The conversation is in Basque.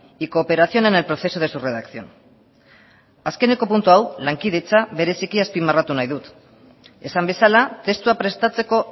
y cooperación en el proceso de su redacción azkeneko puntu hau lankidetza bereziki azpimarratu nahi dut esan bezala testua prestatzeko